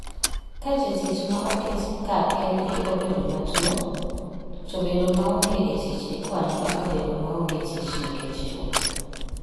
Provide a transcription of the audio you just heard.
Ka jatich ma oket kar kendgi obedo matuwo, to bedo maonge e tich ikwano kaka bedo maonge tich nikech tuwo.